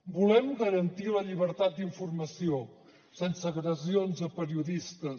volem garantir la llibertat d’informació sense agressions a periodistes